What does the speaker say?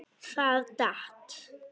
Það datt.